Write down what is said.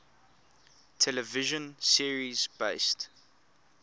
television series based